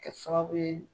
Kɛ sababu ye